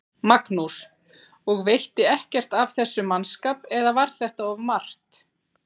Magnús: Og veitti ekkert af þessum mannskap eða var þetta of margt?